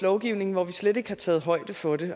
lovgivning hvor vi slet ikke har taget højde for det